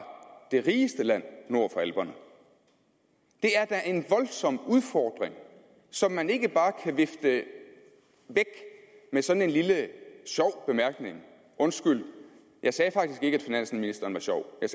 det rigeste land nord for alperne det er da en voldsom udfordring som man ikke bare kan vifte væk med sådan en lille sjov bemærkning undskyld jeg sagde faktisk ikke at finansministeren var sjov jeg